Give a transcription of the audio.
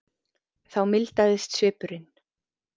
Þá mildaðist svipurinn.